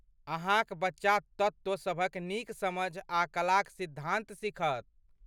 अहाँक बच्चा तत्त्व सभक नीक समझ आ कलाक सिद्धान्त सीखत।